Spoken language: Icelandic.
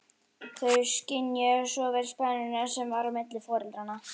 Þau skynjuðu svo vel spennuna sem var á milli foreldranna.